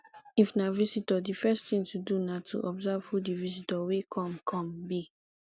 if na visitor di first thing to do na to observe who di visitor wey come come be